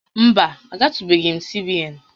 Mba, agatụbeghị m CBN